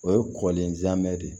O ye kɔlenjamɛ de ye